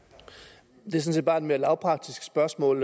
det set bare et mere lavpraktisk spørgsmål